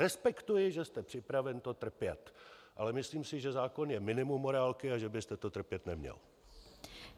Respektuji, že jste připraven to trpět, ale myslím si, že zákon je minimum morálky a že byste to trpět neměl.